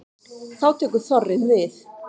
Þá tekur þorrinn við.